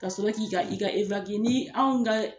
Kasɔrɔ k'i ka i ka ni anw ka